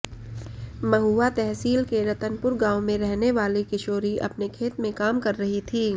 महुआ तहसील के रतनपुर गांव में रहने वाली किशोरी अपने खेत में काम रह थी